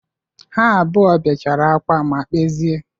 Ha abụọ bechara akwa ma kpezie.